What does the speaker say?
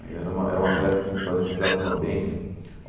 Aí era era uma festa que a gente fazia no Teatro Mambembe.